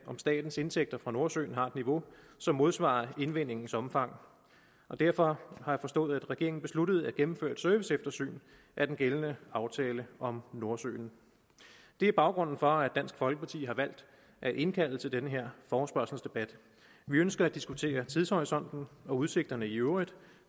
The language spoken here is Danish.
om statens indtægter fra nordsøolien har et niveau som modsvarer indvindingens omfang og derfor har jeg forstået at regeringen besluttede at gennemføre et serviceeftersyn af den gældende aftale om nordsøen det er baggrunden for at dansk folkeparti har valgt at indkalde til den her forespørgselsdebat vi ønsker at diskutere tidshorisonten og udsigterne i øvrigt